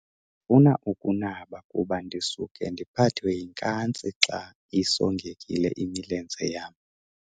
Ndifuna ukunaba kuba ndisuka ndiphathwe yinkantsi xa isongekile imilenze yam.